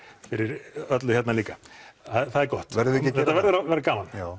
fyrir öllu hérna líka það er gott verðum við ekki þetta verður að vera gaman já